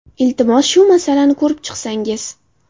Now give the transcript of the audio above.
Iltimos, shu masalani ko‘rib chiqsangiz”.